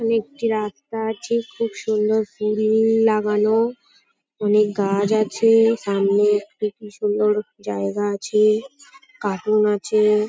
এখানে একটি রাস্তা আছে খুব সুন্দর ফুল-ল লাগানো অনেক গাছ আছে সামনে একটি কি সুন্দর জায়গা আছে কার্টুন আছে।